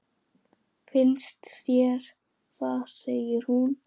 Finnst þér það, segir hún.